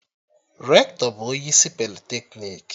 Rektọ bụ onye isi politeknik